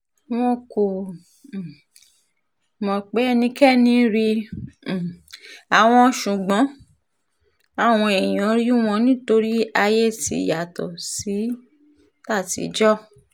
wọn kò um mọ̀ pé ẹnikẹ́ni rí um àwọn ṣùgbọ́n àwọn èèyàn rí wọn nítorí ayé ti yàtọ̀ sí tàtijọ́